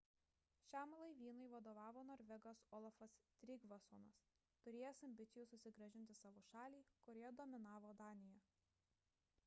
šiam laivynui vadovavo norvegas olafas trygvassonas turėjęs ambicijų susigrąžinti savo šalį kurioje dominavo danija